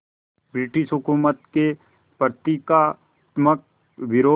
British हुकूमत के प्रतीकात्मक विरोध